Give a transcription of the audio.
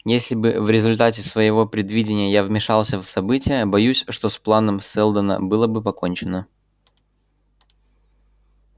если бы в результате своего предвидения я вмешался в события боюсь что с планом сэлдона было бы покончено